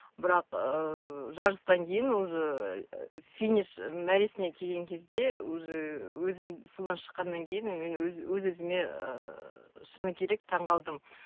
бірақ ыыы жарыстан кейін уже финиш мәресіне келген кезде уже өзім судан шыққаннан кейін мен өз өз өзіме ыыы шыны керек таңғалдым